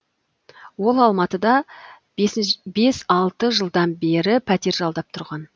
ол алматыда бес алты жылдан бері пәтер жалдап тұрған